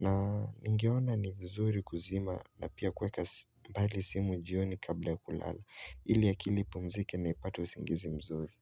na ningeona ni vizuri kuzima na pia kuweka mbali simu jioni kabla ya kulala Ili akili ipumzike na ipate usingizi mzuri.